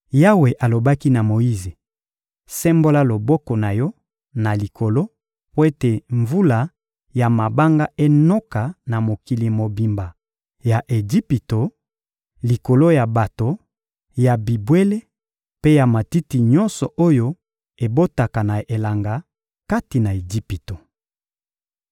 Yawe alobaki na Moyize: «Sembola loboko na yo na likolo mpo ete mvula ya mabanga enoka na mokili mobimba ya Ejipito: likolo ya bato, ya bibwele mpe ya matiti nyonso oyo ebotaka na elanga kati na Ejipito.»